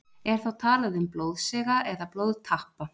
Er þá talað um blóðsega eða blóðtappa.